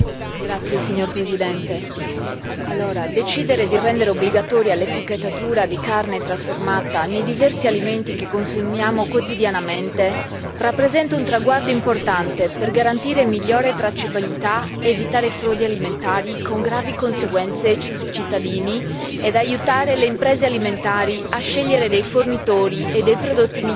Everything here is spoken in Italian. Signor Presidente, onorevoli colleghi, decidere di rendere obbligatoria l'etichettatura della carne trasformata nei diversi alimenti che consumiamo quotidianamente rappresenta un traguardo importante per garantire migliore tracciabilità, evitare frodi alimentari con gravi conseguenze sui cittadini e aiutare le imprese alimentari a scegliere dei fornitori e dei prodotti migliori.